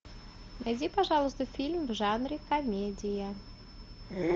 найди пожалуйста фильм в жанре комедия